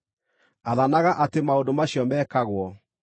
Athanaga atĩ maũndũ macio mekagwo.